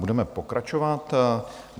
Budeme pokračovat.